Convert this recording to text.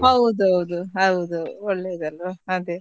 ಹೌದೌದು ಹೌದು ಒಳ್ಳೇದ್ ಅಲ್ವ ಅದೇ.